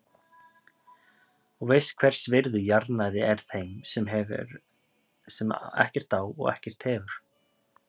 Og veist hvers virði jarðnæði er þeim sem ekkert á og ekkert hefur.